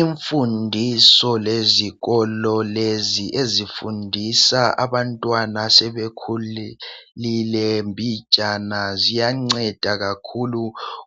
Imfundiso lezikolo lezi ezifundisa abantwana asebekhulile mbijana . Ziyanceda kakhulu